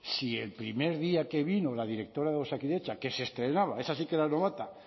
si el primer día que vino la directora de osakidetza que se estrenaba esa sí que era novata